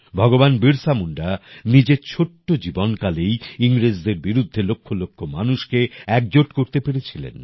ভগবান বিরসা মুন্ডা নিজের ছোট্ট জীবন কালেই ইংরেজদের বিরুদ্ধে লক্ষ লক্ষ মানুষকে একজোট করতে পেরেছিলেন